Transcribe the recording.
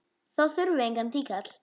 Þá þurfum við engan tíkall!